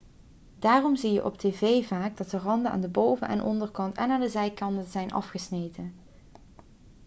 daarom zie je op tv dat vaak de randen aan de boven en onderkant en aan de zijkanten zijn afgesneden